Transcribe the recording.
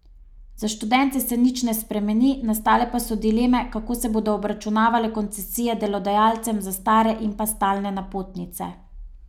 Za študente se nič ne spremeni, nastale pa so dileme, kako se bodo obračunavale koncesije delodajalcem za stare in pa stalne napotnice.